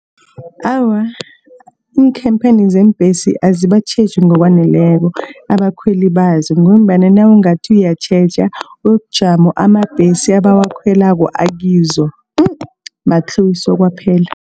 Awa, iinkhamphani zeembhesi azibatjheji ngokwaneleko abakhweli bazo. Ngombana nawungathi uyatjheja, ubujamo amabhesi abawakhwelako akizo , matlhuwiso kwaphela.